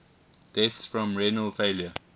deaths from renal failure